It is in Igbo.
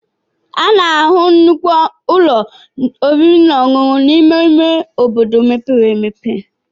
A na-ahụ nnukwu ụlọ oriri na ọṅụṅụ n'ime ime obodo mepere emepe.